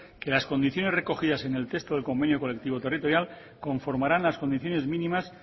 que las condiciones recogidas en el texto del convenio colectivo territorial conformarán las condiciones mínimas